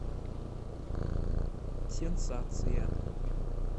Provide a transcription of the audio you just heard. сенсация